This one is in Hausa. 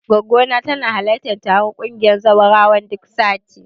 Goggona tana halartar taron ƙungiyar zawarawan duk sati.